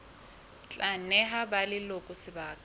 tla neha ba leloko sebaka